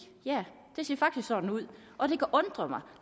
ja det ser faktisk sådan ud og det kan undre mig